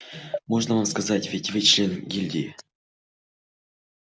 можно вам сказать ведь вы член гильдии